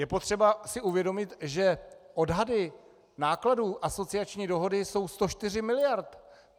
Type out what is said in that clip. Je potřeba si uvědomit, že odhady nákladů asociační dohody jsou 104 miliard.